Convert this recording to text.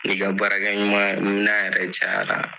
N'i ka baarakɛminɛn yɛrɛ cayara.